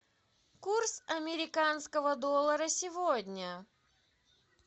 курс американского доллара сегодня